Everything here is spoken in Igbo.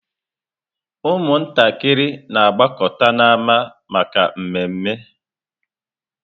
Ụmụntakịrị na-agbakọta n'ámá maka mmeme.